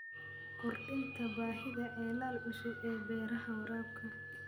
Kordhinta baahida ceelal cusub ee beeraha waraabka.